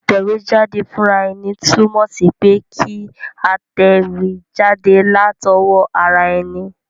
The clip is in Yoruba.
Ìtẹ̀wéjáde fúnraeni tùnmò sí pe kí a tẹ̀wé jáde látowó ara eni